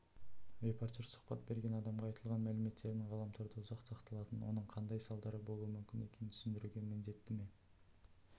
репортер сұхбат берген адамға айтылған мәліметтердің ғаламторда ұзақ сақталатынын оның қандай салдары болуы мүмкін екенін түсіндіруге міндетті ме